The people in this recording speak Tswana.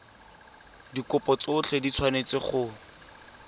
dikopo tsotlhe di tshwanetse go